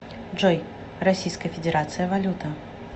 джой российская федерация валюта